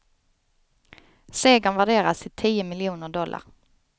Segern värderas till tio miljoner dollar.